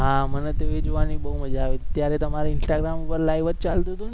હા મને તો એ જોવાની મજા આવી હતી ત્યારે તમારે instagram ઉપર live જ ચાલતુ હતો ને